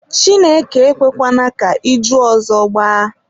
Chineke ekwekwana ka iju ọzọ gbaa.